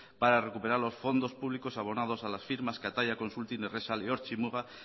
para recuperar los fondos públicos abonados a las firmas kataia consulting errexal y ortzi muga